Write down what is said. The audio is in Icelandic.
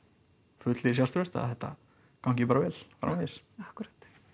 fullir sjálfstrausts að þetta gangi bara vel framvegis akkúrat